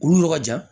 Olu yɔrɔ ka jan